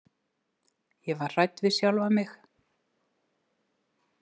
Ég var hrædd við sjálfa mig.